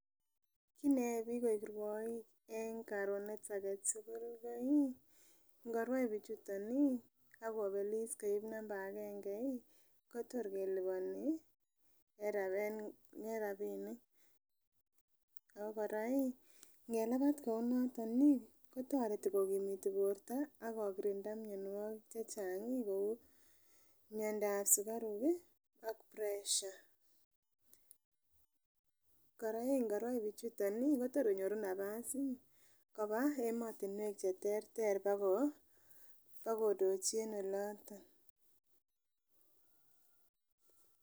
Kit neyoe bik koik rwoik en korunet agetukul lii ko iih ngoruat bichuton nii akobelis koib number agenge ii koyor keliboni en rabinik. Ako Koraa Ii ngelabat koun noton Ii kotoret kokimiti borto ako kirinda mionwokik chechang kou miodao sukaruk kii ak pressure .Koraa ii nkorwai bichuton ii kotor konyoru napas Ii koba emotunwek cheterter bako ndochi en oloton.